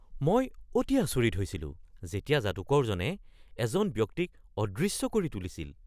মই অতি আচৰিত হৈছিলো যেতিয়া যাদুকৰজনে এজন ব্যক্তিক অদৃশ্য কৰি তুলিছিল!